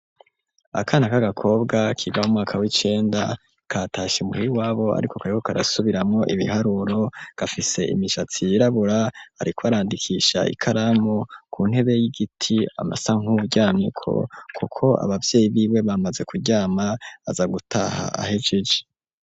Akana k'agakobwa kiga mu mwaka w'icenda katashe muhira iwabo, ariko kariko karasubiramwo ibiharuro gafise imishatsi yirabura ,ariko arandikisha ikaramu ku ntebe y'igiti amasa nkuryamyeko ,kuko abavyeyi biwe bamaze kuryama aza gutaha ahejeje.